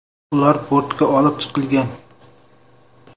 Ular bortga olib chiqilgan.